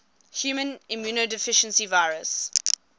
human immunodeficiency virus